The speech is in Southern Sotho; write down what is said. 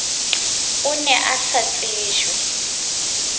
o ne a sa tsejwe